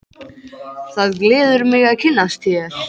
Það gleður mig að kynnast þér